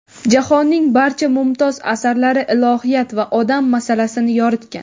Jahonning barcha mumtoz asarlari ilohiyat va odam masalasini yoritgan.